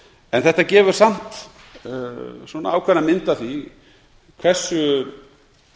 en þetta gefur samt ákveðna mynd af því hversu